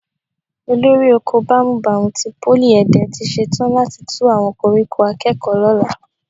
Olórí oko bámúbamù ti Pólì Ẹ̀dẹ tí ṣetán láti tú àwọn koríko akẹ́kọ̀ọ́ lọ́la